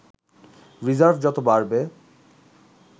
reserve যত বাড়বে